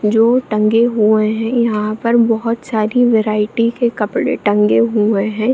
जो टंगे हुए हैं यहाँ पर बहुत सारी वैरायटी के कपडे टंगे हुए हैं।